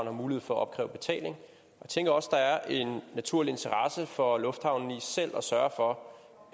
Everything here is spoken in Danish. har mulighed for opkræve betaling jeg tænker også at der er en naturlig interesse for lufthavnen i selv at sørge for